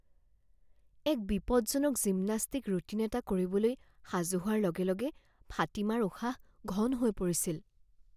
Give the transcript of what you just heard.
এক বিপদজনক gymnastic routine এটা কৰিবলৈ সাজু হোৱাৰ লগে লগে ফাতিমাৰ উশাহ ঘন হৈ পৰিছিল